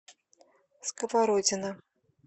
сковородино